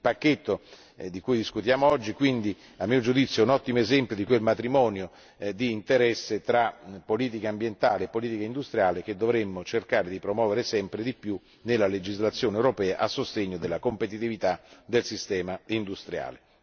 Il pacchetto di cui discutiamo oggi, quindi, a mio giudizio è un ottimo esempio di quel matrimonio di interesse tra politica ambientale e politica industriale che dovremmo cercare di promuovere sempre di più nella legislazione europea a sostegno della competitività del sistema industriale.